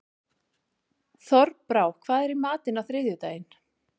Þorbrá, hvað er í matinn á þriðjudaginn?